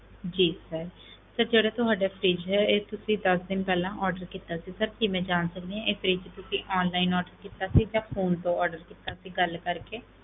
ਜੀ sir sir ਜਿਹੜਾ ਤੁਹਾਡਾ fridge ਹੈ ਇਹ ਤੁਸੀਂ ਦਸ ਦਿਨ ਪਹਿਲਾਂ order ਕੀਤਾ ਸੀ sir ਕੀ ਮੈਂ ਜਾਣ ਸਕਦੀ ਹਾਂ ਇਹ fridge ਤੁਸੀਂ online order ਕੀਤਾ ਸੀ ਜਾਂ phone ਤੋਂ order ਕੀਤਾ ਸੀ ਗੱਲ ਕਰਕੇ।